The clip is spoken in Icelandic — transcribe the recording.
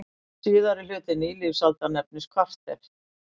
Síðari hluti nýlífsaldar nefnist kvarter.